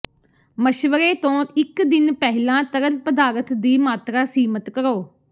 ਮਸ਼ਵਰੇ ਤੋਂ ਇੱਕ ਦਿਨ ਪਹਿਲਾਂ ਤਰਲ ਪਦਾਰਥ ਦੀ ਮਾਤਰਾ ਸੀਮਤ ਕਰੋ